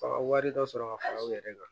Fa ka wari dɔ sɔrɔ ka fara u yɛrɛ kan